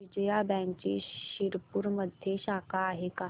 विजया बँकची शिरपूरमध्ये शाखा आहे का